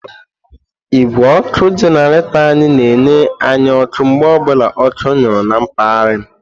Igwé ọkụ jenaretór anyị na-enye anyị ọkụ mgbe ọ bụla ọkụ nyuru na mpaghara m.